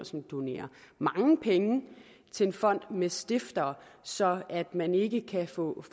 som donerer mange penge til en fond med stiftere så man ikke kan få